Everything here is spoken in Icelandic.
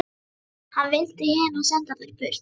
Hann valdi hina og sendi þær burt.